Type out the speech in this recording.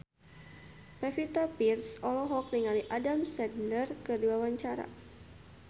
Pevita Pearce olohok ningali Adam Sandler keur diwawancara